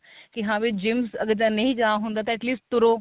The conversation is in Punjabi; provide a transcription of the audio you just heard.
ਕੀ ਹਾਂ ਵੀ gym ਅਗਰ ਨਹੀਂ ਜਾ ਹੁੰਦਾ ਤਾਂ at least ਤੁਰੋ